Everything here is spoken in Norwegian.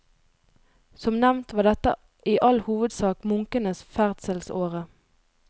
Som nevnt var dette i all hovedsak munkenes ferdselsåre.